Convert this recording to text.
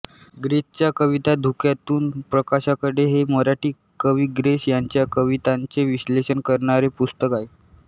ग्रेसच्या कविता धुक्यातून प्रकाशाकडे हे मराठी कवी ग्रेस यांच्या कवितांचे विश्लेषण करणारे पुस्तक आहे